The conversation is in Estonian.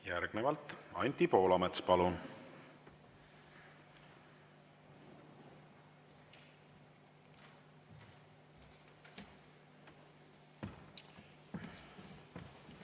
Järgnevalt Anti Poolamets, palun!